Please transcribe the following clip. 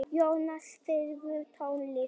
Jósef, spilaðu tónlist.